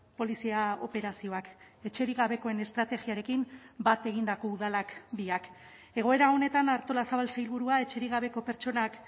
polizia operazioak etxerik gabekoen estrategiarekin bat egindako udalak biak egoera honetan artolazabal sailburua etxerik gabeko pertsonak